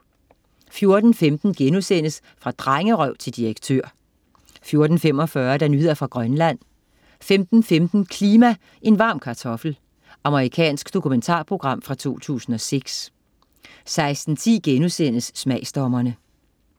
14.15 Fra drengerøv til direktør* 14.45 Nyheder fra Grønland 15.15 Klima, en varm kartoffel. Amerikansk dokumentarprogram fra 2006 16.10 Smagsdommerne*